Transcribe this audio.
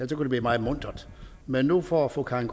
det blive meget muntert men nu får fru karin